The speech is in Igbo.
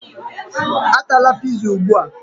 Atala pizza ugbu a!